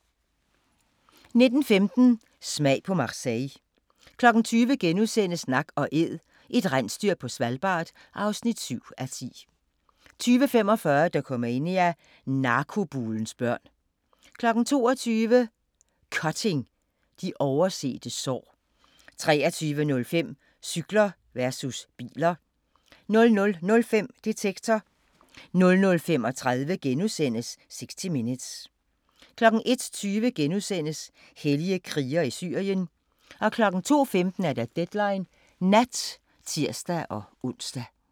19:15: Smag på Marseille 20:00: Nak & Æd – et rensdyr på Svalbard (7:10)* 20:45: Dokumania: Narkobulens børn 22:00: Cutting – de oversete sår 23:05: Cykler versus biler 00:05: Detektor * 00:35: 60 Minutes * 01:20: Hellige krigere i Syrien * 02:15: Deadline Nat (tir-ons)